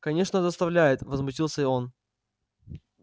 конечно доставляет возмутился он